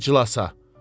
İclasa.